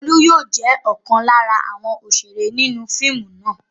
Olú yóò jẹ́ ọ̀kan lára àwọn òṣèré inú fíìmù náà.